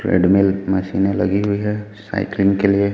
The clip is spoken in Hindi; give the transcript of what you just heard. ट्रेडमिल मशीनें लगी हुई है साइकिलिंग के लिए--